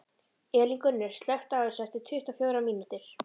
Elíngunnur, slökktu á þessu eftir tuttugu og fjórar mínútur.